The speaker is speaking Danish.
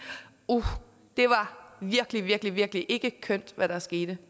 at uh det var virkelig virkelig virkelig ikke kønt hvad der skete